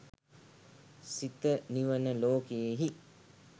සිත නිවන ලෝකයෙහි